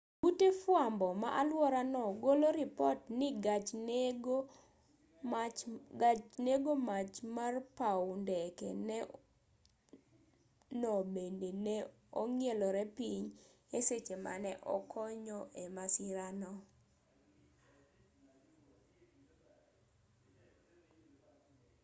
ute fwambo ma alwora no golo ripot ni gach nego mach mar paw ndeke no bende ne ong'ielore piny e seche mane okonyo e masira no